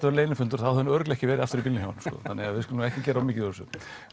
vera leynifundur þá hefði hún örugglega ekki verið aftur í bílnum hjá honum þannig við skulum ekki gera of mikið úr þessu